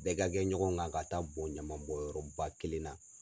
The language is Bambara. Bɛɛ ka kɛ ɲɔgɔn kan ka taa bon ɲaman bɔn yɔrɔba kelen na